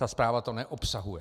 Ta zpráva to neobsahuje.